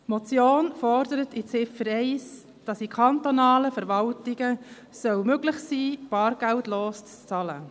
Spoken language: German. Die Motion fordert in Ziffer 1, dass es in kantonalen Verwaltungen möglich sein soll, bargeldlos zu bezahlen.